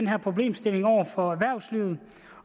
her problemstilling over for erhvervslivet